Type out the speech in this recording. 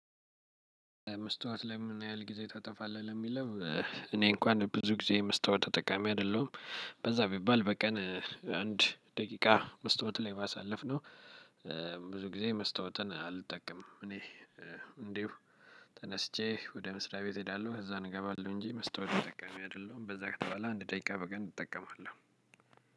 መስታወት ላይ ምን ያህል ጊዜ ታጠፋለህ ለሚለው? እኔ እንኳን ብዙ ጊዜ መስታወት ተጠቃሚ አይደለሁም በዛ ቢባል በቀን አንድ ደቂቃ መስታወት ላይ ማሳለፍ ነው። ብዙ ጊዜ መስታወትን አልጠቀምም። እኔ እንዲሁ ተነስቼ ወደ መስሪያ ቤት እሄዳለሁ እዛ እንገባለሁ እንጂ መስታወት ተጠቀሚ አይደለሁም በዛ ከተባለ አንድ ደቂቃ በቀን እጠቀማለሁ።